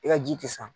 I ka ji tɛ sa